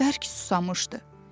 Bərk susamışdı.